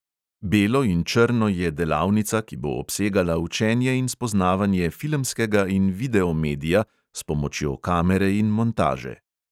Belo in črno je delavnica, ki bo obsegala učenje in spoznavanje filmskega in videomedija s pomočjo kamere in montaže.